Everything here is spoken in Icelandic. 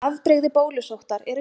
Afbrigði bólusóttar eru tvö.